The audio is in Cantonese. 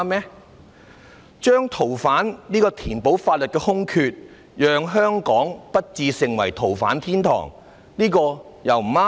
填補《逃犯條例》的法律空缺，使香港不致成為逃犯天堂，這也不對嗎？